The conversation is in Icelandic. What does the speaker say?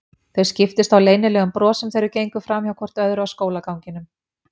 Þau skiptust á leynilegum brosum þegar þau gengu framhjá hvort öðru á skólaganginum.